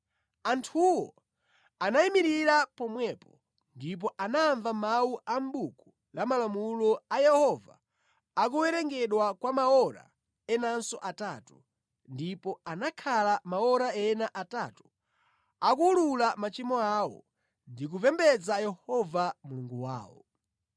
Anthuwo anayimirira pomwepo, ndipo anamva mawu a mʼbuku la malamulo a Yehova akuwerengedwa kwa maora enanso atatu ndipo anakhala maora ena atatu akuwulula machimo awo ndi kupembedza Yehova Mulungu wawo.